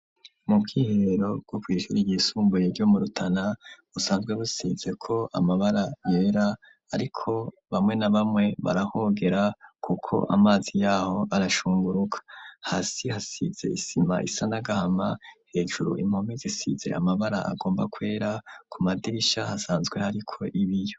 Mu bwihero bo kw'ishuri ryisumbuye ryo mu Rutana usanzwe busize ko amabara yera ariko bamwe na bamwe barahogera kuko amazi yaho arashunguruka. Hasi hasize isima isanagahama hejuru impome zisize amabara agomba kwera ku madirisha hasanzwe hariko ibiyo.